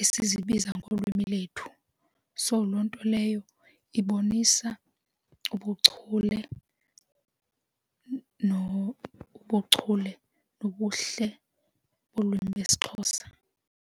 esizibiza ngolwimi lwethu. So, loo nto leyo ibonisa ubuchule nobuchule nobuhle olwimi lesiXhosa.